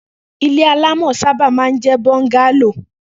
ilé alamò̩ sábà máa ń jé̩ bọ́ńgálò